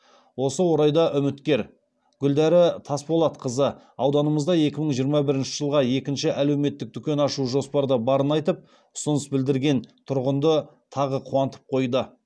осы орайда үміткер гүлдәрі тасболатқызы ауданымызда екі мың жиырма бірінші жылға екі әлеуметтік дүкен ашу жоспарда барын айтып ұсыныс білдірген тұрғынды тағы қуантып қойды